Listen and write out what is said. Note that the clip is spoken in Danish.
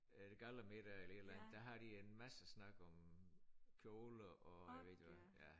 Er det gallamiddag eller et eller andet der har de en masse snak om kjoler og jeg ved ikke hvad